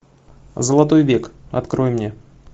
золотой век открой мне